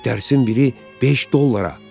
Dərsin biri beş dollara.